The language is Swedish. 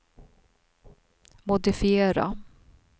modifiera